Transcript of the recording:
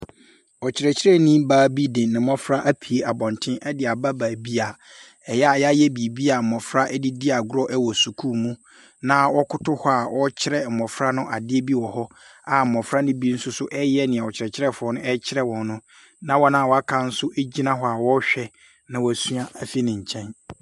Ɔkyerɛkyerɛni baa bi de ne mmɔfra apue abɔnten de aba baabi a ɛyɛ a wɔayɛ biribi a mmɔfra de di agorɔ wɔ sukuu mu, na wɔkoto hɔ a ɔrekyerɛ mmɔfra no adeɛ bi wɔ hɔ, a mmɔfra no bi nso nso reyɛ deɛ ɔkyerɛkyerɛfoɔ no rekyerɛ wɔn no, na wɔn a wɔaka nso gyina hɔ a wɔrehwɛ na wɔasua afiri ne nkyɛn.